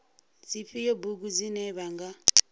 dzifhio bugu dzine vha nga